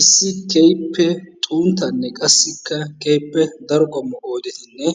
Issi keehippe xunttanne qassi keehippe daro qommo oydetinne